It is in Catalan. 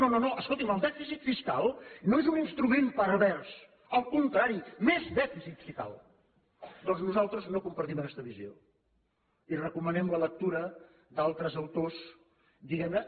no no no escolti’m el dèficit fiscal no és un instrument pervers al contrari més dèficit si cal doncs nosaltres no compartim aquesta visió i recomanem la lectura d’altres autors diguem ne